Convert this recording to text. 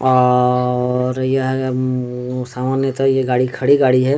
और यह सामान ये तो गाड़ी खड़ी गाड़ी है ।